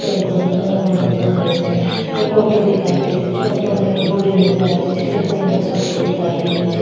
पेड़ को रंग हरो नजर आ रही छे एक ऑटो दिखाई दे रो छे ऑटो में एक बोरी नजर आ रही छे जेको रंग सफ़ेद दिखाई दे रो छे।